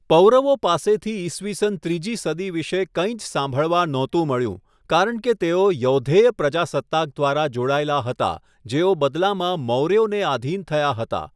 પૌરવો પાસેથી ઇસવીસન ત્રીજી સદી વિશે કંઇ જ સાંભળવા નહોતું મળ્યું કારણ કે તેઓ યૌધેય પ્રજાસત્તાક દ્વારા જોડાયેલા હતા જેઓ બદલામાં મૌર્યોને આધિન થયા હતા.